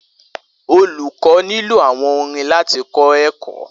Olukọ ni lo awọn orin lati kọ ẹkọ